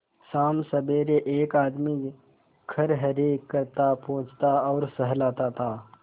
शामसबेरे एक आदमी खरहरे करता पोंछता और सहलाता था